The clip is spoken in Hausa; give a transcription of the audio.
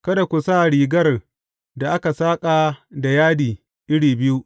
Kada ku sa rigar da aka saƙa da yadi iri biyu.